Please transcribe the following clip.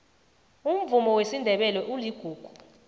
umvumo wesindebele uligugu